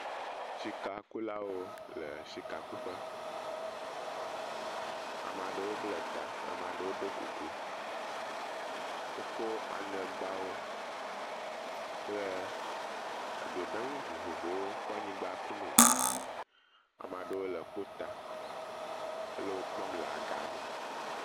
Sika kulawo le sikakuƒe. Ame aɖewo bla ta ame aɖewo ɖo kuku. Woko aŋegbawo kple do ɖe ŋu vovovowo kɔ anyigba kum e. Ame aɖewo le kpota hele wo kpɔm le aga me.